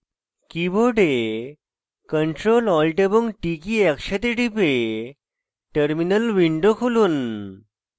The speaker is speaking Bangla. keyboard ctrl alt এবং t কী একসাথে টিপে terminal উইন্ডো খুলুন